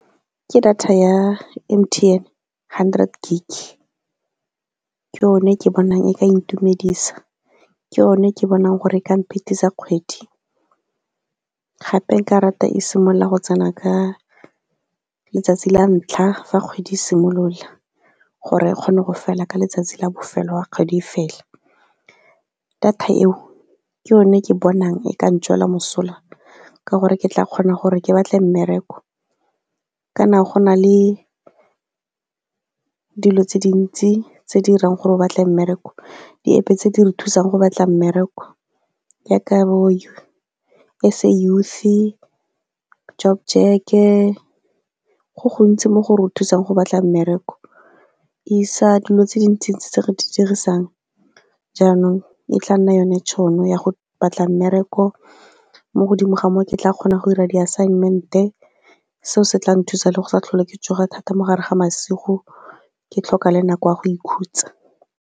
Ke data ya M_T_N hundred gig, ke yone e ke bonang e ka intumedisa, ke yone e ke bonang gore e ka mphetisa kgwedi. Gape nka rata e simolola go tsena ka letsatsi la ntlha fa kgwedi simolola gore e kgone go fela ka letsatsi la bofelo ga kgwedi fela. Data eo, ke yone e ke bonang e ka ntswela mosola ka gore ke tla kgona gore ke batle mmereko. Kana go na le dilo tse dintsi tse di gore o batle mmereko, di-App tse di re thusang go batla mmereko jaaka bo S_A youth-i job check-e, go gontsi mo go re thusang go batla mmereko, isa dilo tse dintsi tse re di dirisang, jaanong e tla nna yone tšhono ya go batla mmereko mo godimo ga moo ke tla kgonang go dira di assignment-e, seo se tla nthusa le go sa tlhole ke tsoga thata mo gare ga masigo ke tlhoka le nako ya go ikhutsa.